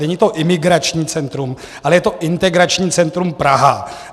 Není to imigrační centrum, ale je to Integrační centrum Praha.